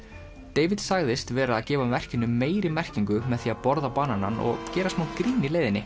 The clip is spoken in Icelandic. David sagðist vera að gefa verkinu meiri merkingu með því að borða bananann og gera smá grín í leiðinni